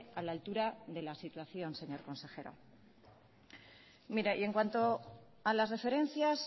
a la altura de la situación señor consejero mire y en cuanto a las referencias